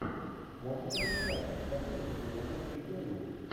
можешь найти матч манчестер юнайтед и бернли